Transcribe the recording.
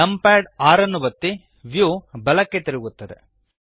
numpad 6 ಒತ್ತಿ view ಬಲಕ್ಕೆ ತಿರುಗುತ್ತದೆ